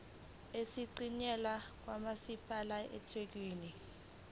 esiyingxenye kamasipala wasethekwini